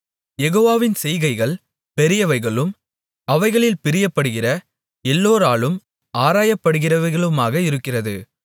யெகோவாவின் செய்கைகள் பெரியவைகளும் அவைகளில் பிரியப்படுகிற எல்லோராலும் ஆராயப்படுகிறவைகளுமாக இருக்கிறது